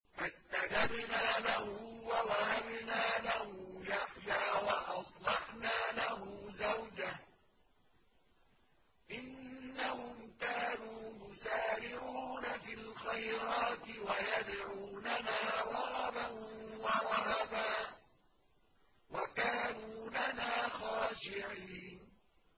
فَاسْتَجَبْنَا لَهُ وَوَهَبْنَا لَهُ يَحْيَىٰ وَأَصْلَحْنَا لَهُ زَوْجَهُ ۚ إِنَّهُمْ كَانُوا يُسَارِعُونَ فِي الْخَيْرَاتِ وَيَدْعُونَنَا رَغَبًا وَرَهَبًا ۖ وَكَانُوا لَنَا خَاشِعِينَ